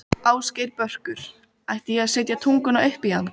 Ásgeir Börkur: Átti ég að setja tunguna upp í hann?